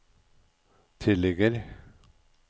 tilligger